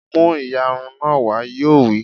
Mú ìyarun náà wá! Yóò wí